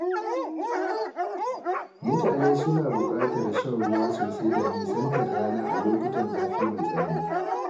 Mutane suna buƙatar shan ruwa sosai da nisantar rana a lokutan zafi mai tsanani.